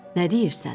Nə deyirsən?